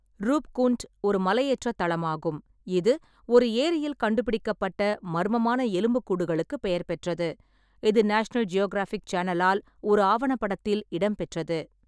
ரூப்குண்ட் ஒரு மலையேற்ற தளமாகும், இது ஒரு ஏரியில் கண்டுபிடிக்கப்பட்ட மர்மமான எலும்புக்கூடுகளுக்கு பெயர் பெற்றது, இது நேஷனல் ஜியோகிராஃபிக் சேனலால் ஒரு ஆவணப்படத்தில் இடம்பெற்றது.